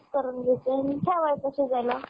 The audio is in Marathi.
mix करून घायची आणि ठेवायचं शिजायला